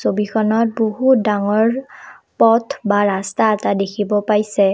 ছবিখনত বহুত ডাঙৰ পথ বা ৰাস্তা এটা দেখিব পাইছে।